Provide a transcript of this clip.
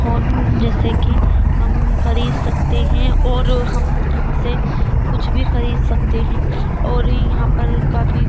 phone जैसे की हम ख़रीद सकते हैं और हम यहाँ से कुछ भी ख़रीद सकते हैं और यहाँ पर काफ़ी --